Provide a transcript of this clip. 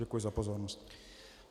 Děkuji za pozornost.